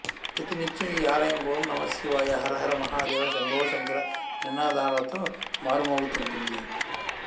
ప్రతి నిత్యం ఈ ఆలయం ఓం నమశ్శివాయ హరహర మహాదేవ శంభోశంకర నినాదాలతో మార్మోగుతుంటుంది